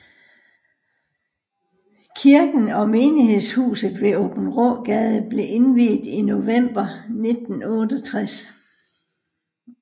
Kirken og menighedshuset ved Aabenraagade blev indviet i november 1968